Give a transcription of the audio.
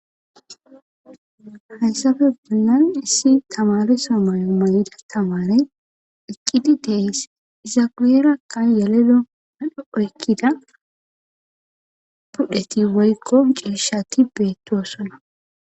Hayssafe bunnan issi tamare so mayo mayida tamare iqqidi teeys izaguyerakka yelelo adho oykkida budheti woykko cirshati beettoosona